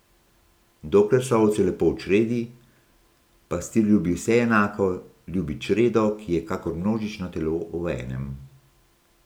Dokler so ovce lepo v čredi, pastir ljubi vse enako, ljubi čredo, ki je kakor množično telo v enem.